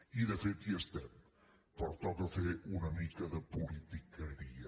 i de fet ho estem però toca fer una mica de politiqueria